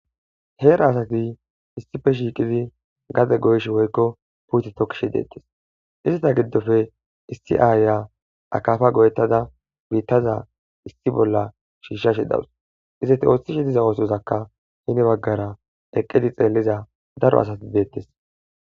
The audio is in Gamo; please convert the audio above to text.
heera asati issife shiiqidi gade goysh woykko puuti tokkishe deettes izata giddofe issi aaya akafa go7ettada biittaza issi bolla shiishsha she dawus izati ooththishe diza oosozakka hine baggara eqqedi xeelliza daro asati beettes